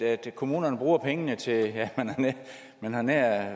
at kommunerne bruger pengene til ja man havde nær